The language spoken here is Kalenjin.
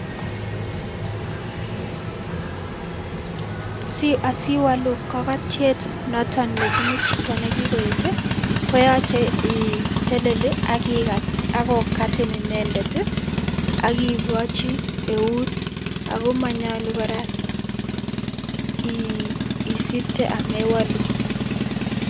Asiwalu kakatiet noto nebunu chito nekikoet koyache itelel ak kikaat ako kaatin inendet ak kikochi eut akomanyolu kora isirte amewalu.